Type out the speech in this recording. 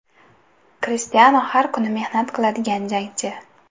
Krishtianu – har kuni mehnat qiladigan jangchi.